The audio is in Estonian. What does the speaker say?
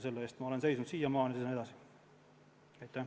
Selle eest olen ma seisnud seni ja seisan ka edaspidi.